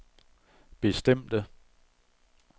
bestemte